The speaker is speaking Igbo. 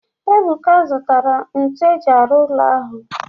Ebuka azụtara ntu eji arụ ụlọ ahụ